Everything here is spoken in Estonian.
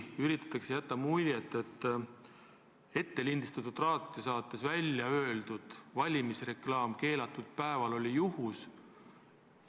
Üritatakse jätta muljet, et ettelindistatud raadiosaates välja öeldud valimisreklaam keelatud päeval oli juhus.